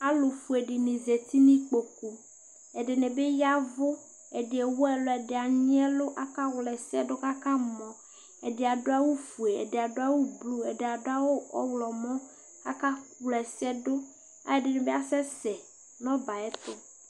ɛtʊfue alʊɛdɩnɩ zati nʊ ikpoku, ɛdɩnɩ bɩ y'ɛvʊ, ɛdɩ ewu ɛlʊ, ɛdɩ anyi ɛlʊ, akawla ɛsɛ dʊ kʊ akamɔ, ɛdɩ adʊ awʊfue, ɛdɩdʊ awʊ avavlitsɛ, ɛdɩ adʊ awʊ ɔwlɔmɔ, kʊ akawla ɛsɛ dʊ, ɛdɩbɩ asɛ sɛ nʊ ɔbɛ yɛ ay'ɛtʊ